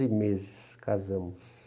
Em meses, casamos.